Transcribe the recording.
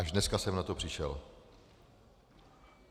Až dneska jsem na to přišel.